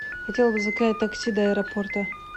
хотела бы заказать такси до аэропорта